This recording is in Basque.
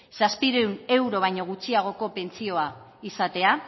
zazpiehun euro baino gutxiagoko pentsioa izatea